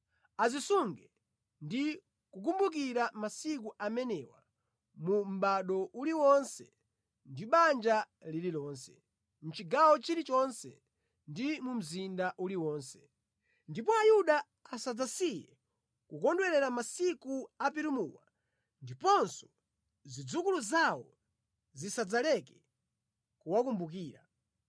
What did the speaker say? Azisunga ndi kukumbukira masiku amenewa mu mʼbado uliwonse ndi banja lililonse, mʼchigawo chilichonse ndi mu mzinda uliwonse. Ndipo Ayuda asadzasiye kukondwerera masiku a Purimuwa ndiponso zidzukulu zawo zisadzaleke kuwakumbukira.